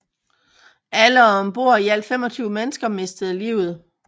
Alle ombord i alt 25 mennesker mistede livet